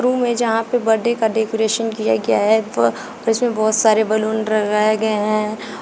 Room में जहां पे बर्थडे का डेकोरेशन किया गया है तो उसमें बहुत सारे बैलून लगाए गए हैं।